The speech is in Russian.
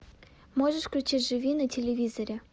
можешь включить живи на телевизоре